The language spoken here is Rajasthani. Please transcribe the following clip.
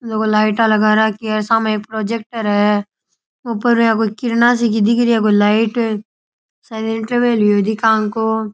लोग लाइट लगा राखी है सामे एक प्रोजेक्टर है ऊपर कोई किरणा की सी दिख रही लाइट शायद इंटरवल हुआ दिखे --